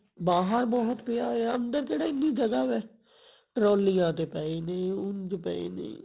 ਬਾਹਰ ਬਹੁਤ ਪਿਆ ਹੈ ਅੰਦਰ ਕਿਹੜਾ ਇਹਨੀਂ ਜਗਹਾਂ ਵਾ trolley ਤੇ ਪਏ ਨੇ ਉੰਜ ਪਏ ਨੇ